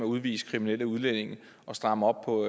udvise kriminelle udlændinge og stramme op på